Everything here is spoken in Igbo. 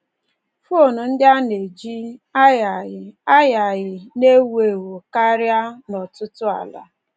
Fon ndị a na-eji um agagharị agagharị um na-ewu ewu karị n’ọtụtụ ala